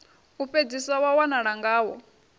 u fhedzisa wa wanala ngawo